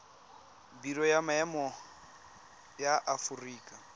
biro ya maemo ya aforika